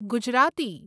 Gujarati